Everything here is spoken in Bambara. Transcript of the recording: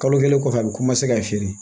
Kalo kelen kɔfɛ a bɛ ka feere